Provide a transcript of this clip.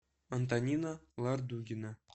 антонина лардугина